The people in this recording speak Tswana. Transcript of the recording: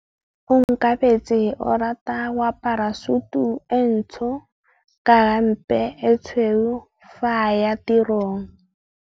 Onkabetse o rata go apara sutu e ntsho ka hempe e tshweu fa a ya tirong.